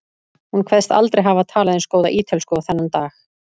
Hún kveðst aldrei hafa talað eins góða ítölsku og þennan dag.